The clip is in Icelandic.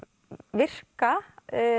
virka